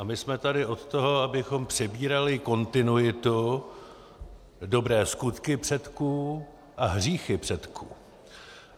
A my jsme tady od toho, abychom přebírali kontinuitu - dobré skutky předků a hříchy předků.